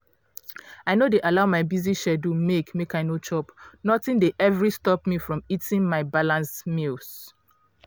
i no dey allow my busy schedule make make i no chop. nothing dey every stop me from eating my balanced meals.